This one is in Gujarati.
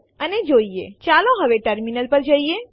આ ફાઈલો નું સ્થાન બદલવા માટે વપરાય છે